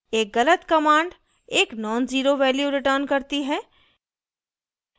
एक गलत command एक nonzero value returns करती है